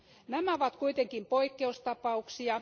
Nämä ovat kuitenkin poikkeustapauksia.